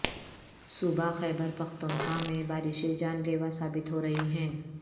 صوبہ خیبرپختونخواہ میں بارشیں جان لیوا ثابت ہو رہی ہیں